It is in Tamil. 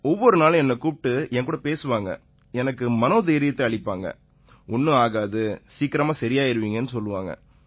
ஒவ்வொரு நாளும் என்னைக் கூப்பிட்டு என்கூட பேசுவாங்க எனக்கு மனோதைரியத்தை அளிப்பாங்க ஒண்ணும் ஆகாது சீக்கிரமாவே சரியாயிருவீங்கன்னு சொல்லுவாங்க